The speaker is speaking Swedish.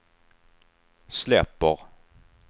släpper